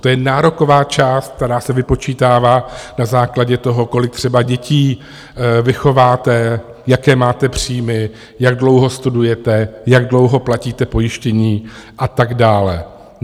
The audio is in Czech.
To je nároková část, která se vypočítává na základě toho, kolik třeba dětí vychováte, jaké máte příjmy, jak dlouho studujete, jak dlouho platíte pojištění a tak dále.